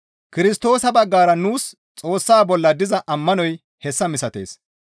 Kirstoosa baggara nuus Xoossa bolla diza ammanoy hessa misatees.